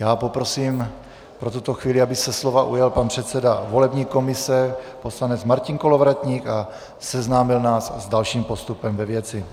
Já poprosím pro tuto chvíli, aby se slova ujal pan předseda volební komise poslanec Martin Kolovratník a seznámil nás s dalším postupem ve věci.